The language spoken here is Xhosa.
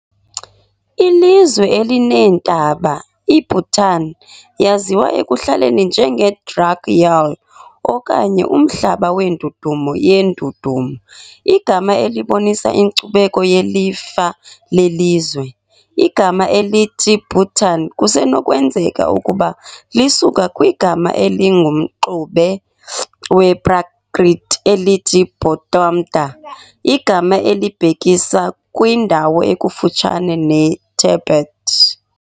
Ilizwe elineentaba, iBhutan yaziwa ekuhlaleni njenge "Druk Yul" okanye "Umhlaba weNdudumo yeNdudumo", igama elibonisa inkcubeko yelifa lelizwe. Igama elithi Bhutan kusenokwenzeka ukuba lisuka kwigama elingumxube wePrakrit elithi Bhŏṭṭaṃta, igama elibhekisa kwindawo ekufutshane neTibet.